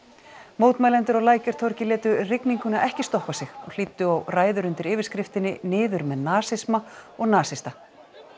mótmælendur á Lækjartorgi létu rigninguna ekki stoppa sig og hlýddu á ræður undir yfirskriftinni niður með nasisma og nasista